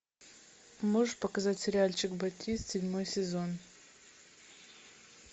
можешь показать сериальчик батист седьмой сезон